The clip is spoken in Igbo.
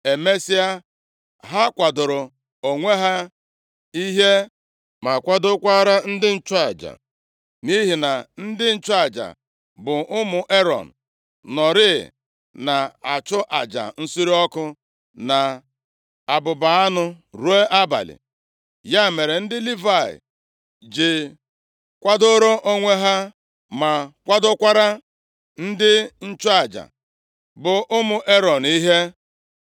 Emesịa, ha kwadooro onwe ha ihe, ma kwadokwara ndị nchụaja, nʼihi na ndị nchụaja, bụ ụmụ Erọn, nọọrị na-achụ aja nsure ọkụ na abụba anụ ruo abalị. Ya mere, ndị Livayị ji kwadoro onwe ha ma kwadokwara ndị nchụaja, bụ ụmụ Erọn ihe.